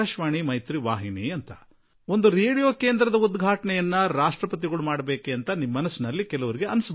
ಇದೇನು ರಾಷ್ಟ್ರಪತಿಯವರಿಗೆ ಒಂದು ರೇಡಿಯೋ ವಾಹಿನಿ ಉದ್ಘಾಟನೆ ಮಾಡಬೇಕಿದೆಯಾ ಎಂದು ಅನೇಕರಿಗೆ ಅನಿಸಿರಬೇಕು